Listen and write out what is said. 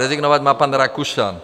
Rezignovat má pan Rakušan.